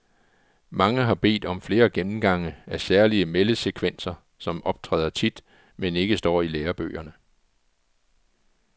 Mange har bedt om flere gennemgange af særlige meldesekvenser, som optræder tit, men ikke står i lærebøgerne.